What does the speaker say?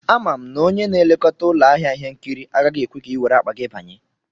Ama m na onye na-elekọta ụlọ ahịa ihe nkiri agaghị ekwe ka i were akpa gị banye